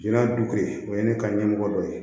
Joona du kelen o ye ne ka ɲɛmɔgɔ dɔ ye